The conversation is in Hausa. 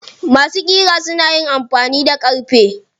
Masu ƙira suna amfani da ƙarfe.